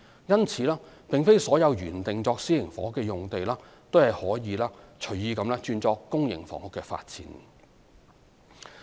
因此，並非所有原定作私營房屋的用地均可隨意改作公營房屋的發展。